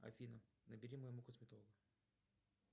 афина набери моему косметологу